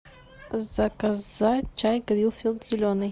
заказать чай гринфилд зеленый